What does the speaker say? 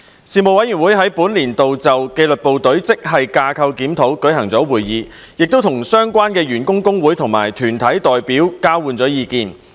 事務委員會在本年度就紀律部隊職系架構檢討舉行會議，與相關員工工會及團體代表交換意見。